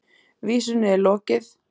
Vísunni er lokið.